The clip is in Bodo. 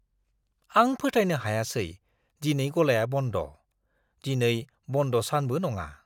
आं फोथायनो हायासै, दिनै गलाया बन्द' ! दिनै बन्द' सानबो नङा।